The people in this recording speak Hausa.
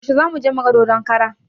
Yaushe zamuje muga dodon kara?